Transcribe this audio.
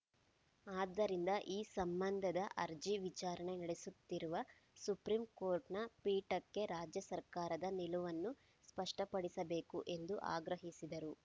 ಆದ್ದರಿಂದ ಈ ಸಂಬಂಧದ ಅರ್ಜಿ ವಿಚಾರಣೆ ನಡೆಸುತ್ತಿರುವ ಸುಪ್ರೀಂಕೋರ್ಟ್‌ನ ಪೀಠಕ್ಕೆ ರಾಜ್ಯ ಸರ್ಕಾರದ ನಿಲುವನ್ನು ಸ್ಪಷ್ಟಪಡಿಸಬೇಕು ಎಂದು ಆಗ್ರಹಿಸಿದರು